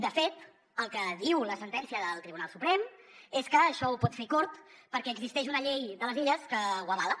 de fet el que diu la sentència del tribunal suprem és que això ho pot fer cort perquè existeix una llei de les illes que ho avala